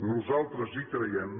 nosaltres hi creiem